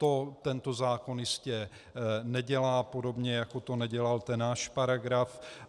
To tento zákon jistě nedělá, podobně jako to nedělal ten náš paragraf.